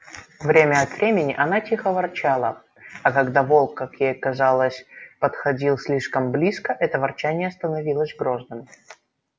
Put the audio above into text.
время от времени она тихо ворчала а когда волк как ей казалось подходил слишком близко это ворчание становилось грозным